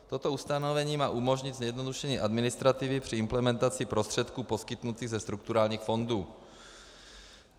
Toto ustanovení má umožnit zjednodušení administrativy při implementaci prostředků poskytnutých ze strukturálních fondů.